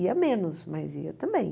Ia menos, mas ia também.